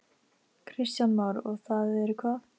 Kristján Már: Og það eru hvað?